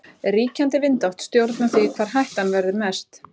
Ríkjandi vindáttir stjórna því hvar hættan verður mest.